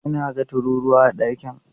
E, na ga tururuwa a ɗakin.